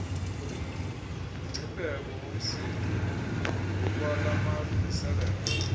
nomngcipheko womsitho ngokwamalungiselelo